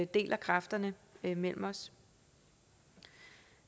deler kræfterne mellem os